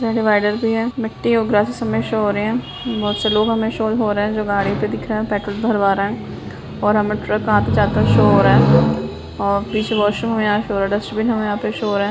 यहाँ डिवाइडर भी है मिट्टी और ग्रासेस सब में शो हो रहे हैं बहोत से लोग हमें शोज हो रहे हैं जो गाड़ी पे दिख रहे हैं पेट्रोल भरवा रहे हैं और हमें ट्रक आते जाते शो हो रहा है और पीछे वाशरूम हमें यहाँ शो हो रहा है डस्ट्बिन हमें यहाँ पे शो हो रहा है।